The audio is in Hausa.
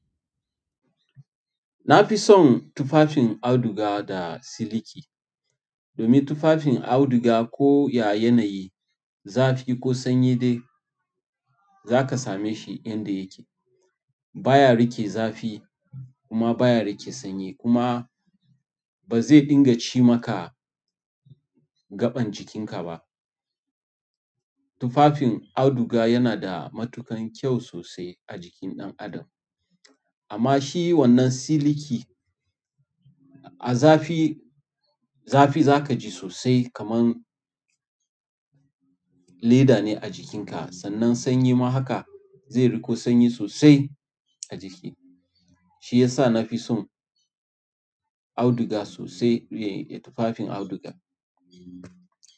Na fi son tufafin auduga da siliki. Domin tufafin auduga ko ya yanayi, zafi ko sanyi dai, za ka same shi yanda yake. Ba ya riƙe zafi kuma ba ya riƙe sanyi kuma ba zai dinga ci maka gaɓan jikinka ba. Tufafin auduga yana da matuƙan kyau sosai a jikin ɗan adam. Amma shi wannan siliki a zafi, zafi za ka ji sosai kamar leda ne a jikin ka. Sannan sanyi ma haka zai riƙo sanyi sosai a jiki. Shi yasa nafi son auduga sosai fiyen tufafin auduga.